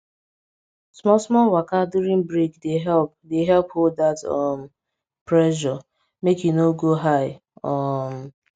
small small waka during break dey help dey help hold that um pressure make e no go high um